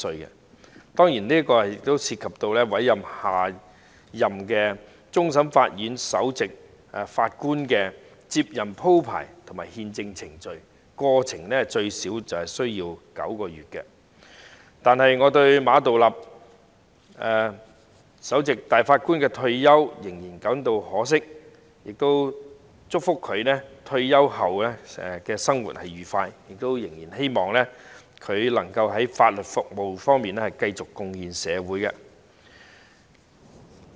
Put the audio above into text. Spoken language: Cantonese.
這當然涉及委任下任終審法院首席法官的接任鋪排及憲制程序，整個過程最少需時9個月，但我對於馬道立的退休仍是感到可惜，祝福他退休後的生活愉快，亦希望他能夠繼續在法律服務方面貢獻社會。